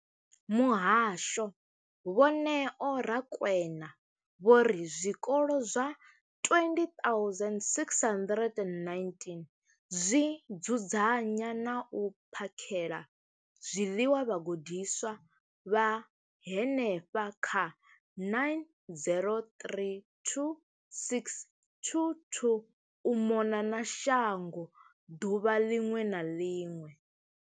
Muhasho, Vho Neo Rakwena, vho ri zwikolo zwa 20 619 zwi dzudzanya na u phakhela zwiḽiwa vhagudiswa vha henefha kha 9 032 622 u mona na shango ḓuvha ḽiṅwe na ḽiṅwe.